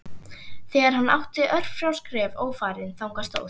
Þegar hann átti örfá skref ófarin þangað stóð